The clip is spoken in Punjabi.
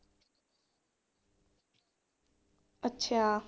ਅੱਛਾ।